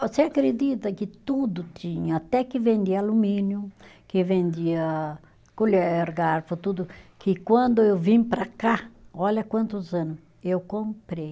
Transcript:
Você acredita que tudo tinha, até que vendia alumínio, que vendia colher, garfo, tudo, que quando eu vim para cá, olha quantos ano, eu comprei.